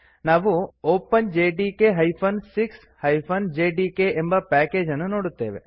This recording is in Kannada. ನಾವು openjdk 6 ಜೆಡಿಕೆ ಎಂಬ ಪ್ಯಾಕೇಜ್ ಅನ್ನು ನೋಡುತ್ತೇವೆ